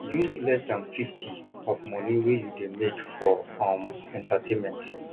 use less than 50 of money wey you dey make for um entertainment